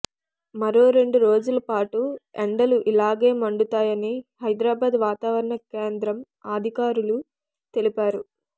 మరో రెండు రోజుల పాటు ఎండలు ఇలాగే మండుతాయని హైదరాబాద్ వాతావారణ కేంద్రం అధికారులు తెలిపారు